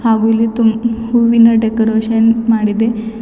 ಹಾಗೂ ಇಲ್ಲಿ ತುಮ ಹೂವಿನ ಡೆಕೋರೇಷನ್ ಮಾಡಿದೆ.